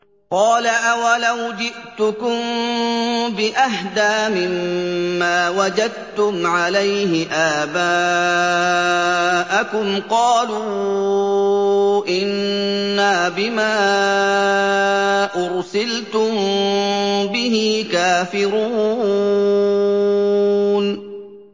۞ قَالَ أَوَلَوْ جِئْتُكُم بِأَهْدَىٰ مِمَّا وَجَدتُّمْ عَلَيْهِ آبَاءَكُمْ ۖ قَالُوا إِنَّا بِمَا أُرْسِلْتُم بِهِ كَافِرُونَ